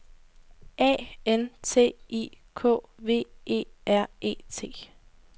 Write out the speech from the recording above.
A N T I K V E R E T